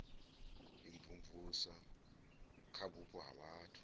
imvumvusa kha vhupo ha vhathu